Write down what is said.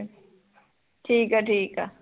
ਠੀਕ ਐ ਠੀਕ ਆ